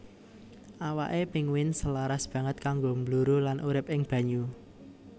Awaké pinguin selaras banget kanggo mbluru lan urip ing banyu